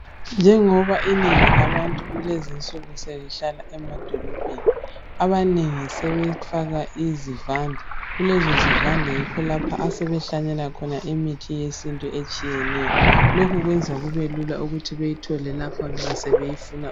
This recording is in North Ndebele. Njengoba inengi labantu kulezi nsuku selihlala amadolobheni .Abanengi sebefaka izivande .Kulezo zivande yikho lapho asebehlanyela khona imithi yesintu etshiyeneyo .Lokhu kwenza kubelula ukuthi beyithole lapho nxa sebeyifuna.